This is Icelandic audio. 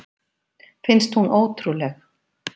Finnst hún ótrúleg.